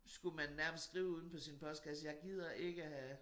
Skulle man nærmest skrive uden på sin postkasse jeg gider ikke have